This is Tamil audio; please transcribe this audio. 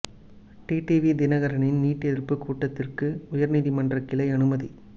டிடிவி தினகரனின் நீட் எதிர்ப்பு கூட்டதிற்கு உயர் நீதிமன்ற கிளை அனுமதி